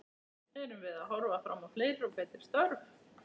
Erum við að horfa fram á fleiri og betri störf?